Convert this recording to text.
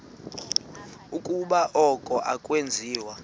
ukuba oku akwenziwa